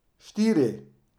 Štiri.